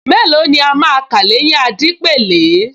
Mélòó ni a máa kà l’éyín Adépèlé